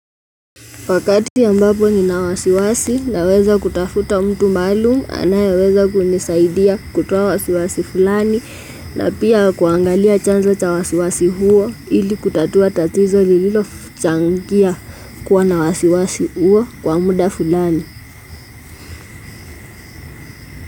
Wakati ambapo nina wasiwasi naweza kutafuta mtu maalum anayeweza kunisaidia kutoa wasiwasi fulani na pia kuangalia chanzo cha wasiwasi huo ili kutatua tatizo lililochangia kuwa na wasiwasi huo kwa muda fulani.